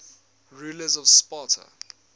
rulers of sparta